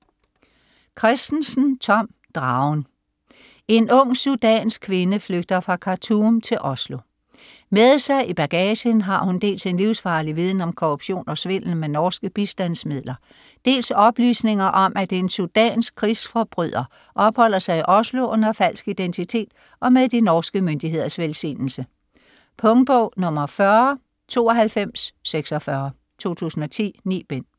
Kristensen, Tom: Dragen En ung sudansk kvinde flygter fra Khartoum til Oslo. Med sig i bagagen har hun dels en livsfarlig viden om korruption og svindel med norske bistandsmidler, dels oplysninger om at en sudansk krigsforbryder opholder sig i Oslo under falsk identitet og med de norske myndigheders velsignelse. Punktbog 409246 2010. 9 bind.